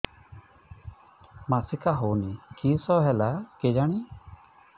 ମାସିକା ହଉନି କିଶ ହେଲା କେଜାଣି